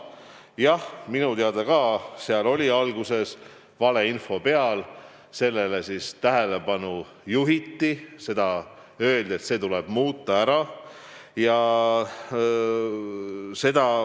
Jah, minu teada oli seal alguses valeinfo peal, aga sellele juhiti tähelepanu ja öeldi, et see tuleb ära muuta.